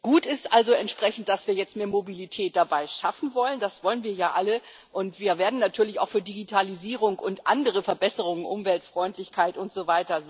Gut ist also, dass wir jetzt mehr Mobilität dabei schaffen wollen das wollen wir ja alle und wir werden natürlich auch für Digitalisierung und andere Verbesserungen Umweltfreundlichkeit usw.